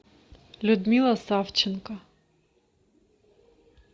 людмила савченко